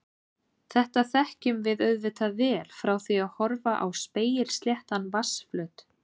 Þetta þekkjum við auðvitað vel frá því að horfa á spegilsléttan vatnsflöt.